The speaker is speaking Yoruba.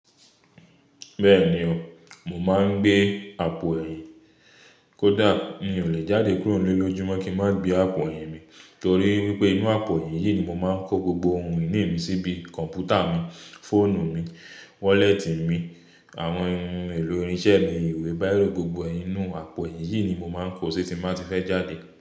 Bẹ́ẹ̀ni o, mo máa ń gbé àpò ẹ̀yìn. Kódà mi ò lè jáde kúrò nílé lójúmọ́ kí n má gbé àpò ẹ̀yìn mi torí wípé inú àpò ẹ̀yìn yìí ni mo máa ń kó gbogbo ohun ìní mi sí bí kọ̀npútà mi, fóònù mi, wọ́lẹ́tì mi, àwọn ohun èlò irinṣẹ́ mi, ìwé, báírò, gbogbo ẹ inú àpò yìí ni mo máa ń kó tí èmi má ti fẹ́ jáde.